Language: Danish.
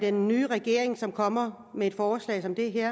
er nye regering der kommer med et forslag som det her